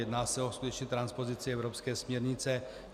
Jedná se o skutečně transpozici evropské směrnice.